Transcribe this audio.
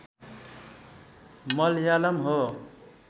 मलयालम हो